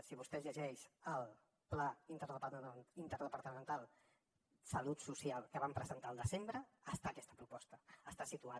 si vostè es llegeix el pla interdepartamental de salut social que vam presentar el desembre hi ha aquesta proposta està situada